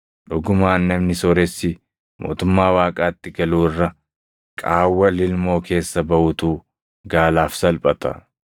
Dhugumaan namni sooressi mootummaa Waaqaatti galuu irra qaawwa lilmoo keessa baʼuutu gaalaaf salphata.”